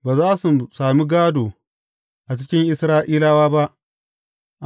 Ba za su sami gādo a cikin Isra’ilawa ba.